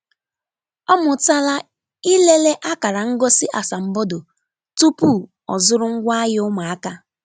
Ọ mụtala ilele akara ngosi asambodo tupu ọzụrụ ngwaahịa ụmụaka.